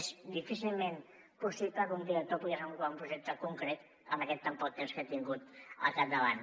és difícilment possible que un director pugui desenvolupar un projecte concret amb tan poc temps que ha tingut al capdavant